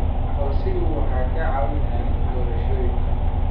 Aqoonsiyadu waxay caawiyaan doorashooyinka.